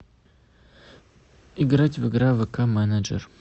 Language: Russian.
играть в игра вк менеджер